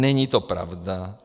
Není to pravda.